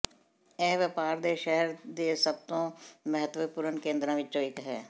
ਇਹ ਵਪਾਰ ਦੇ ਸ਼ਹਿਰ ਦੇ ਸਭ ਤੋਂ ਮਹੱਤਵਪੂਰਨ ਕੇਂਦਰਾਂ ਵਿਚੋਂ ਇਕ ਹੈ